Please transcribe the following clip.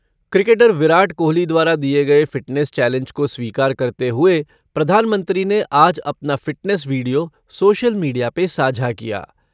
Cricketer Virat Kohli द्वारा दिये गये फ़िटनेस चैलेंज को स्वीकार करते हुए प्रधानमंत्री ने आज अपना फ़िटनेस वीडियो सोशल मीडिया पर साझा किया।